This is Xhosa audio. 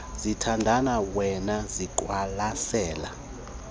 ziyathandana wema waziqwalasela